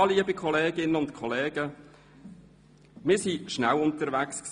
Ja, liebe Kolleginnen und Kollegen, wir waren schnell unterwegs.